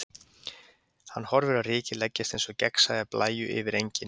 Hann horfir á rykið leggjast eins og gegnsæja blæju yfir engin.